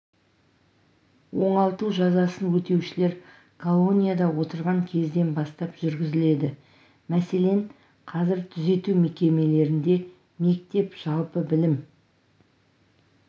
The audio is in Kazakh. оңалту жазасын өтеушілер колонияда отырған кезден бастап жүргізіледі мәселен қазір түзету мекемелерінде мектеп жалпы білім